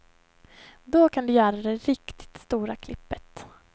Då kan du göra det riktigt stora klippet.